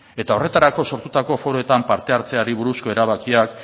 eta horretarako sortutako foroetan parte hartzeari buruzko erabakiak